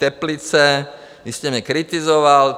Teplice - vy jste mě kritizoval.